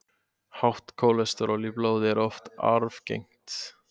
Hátt kólesteról í blóði er oft arfgengt.